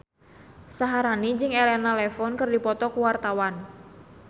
Syaharani jeung Elena Levon keur dipoto ku wartawan